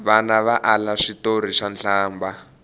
vana va ala switori swa nhlambha